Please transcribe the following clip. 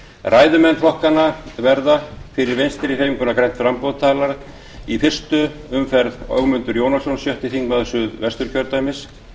ræðumenn flokkanna verða fyrir vinstri hreyfinguna grænt framboð talar í fyrstu umferð ögmundur jónasson sjötti þingmaður suðvesturkjördæmis